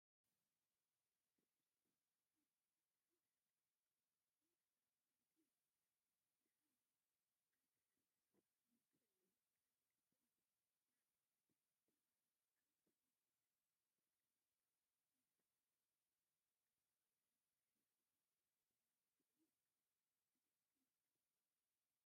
ትምህርቲ ትምህርቲ ንሓንቲ ሃገር ኢኮኖሚያዊን ማሕበራዊን ለውጢ ንምምፃእ ዝዓበየ አተሓሳስባ ንክህልወካ ዝገብር እዩ፡፡ ንአብነት ተምሃሮ አብ ስርናየታይ ወንበር ኮፍ ኢሎም እናተምሃሩ ኮይኖም፤ አብ ዝተፈላለዩ ሕብራዊ ስእሊ ዘለዎ ክፍሊ ይርከቡ፡፡ እዚኦም ክንደይ ክፍሊ እዮም?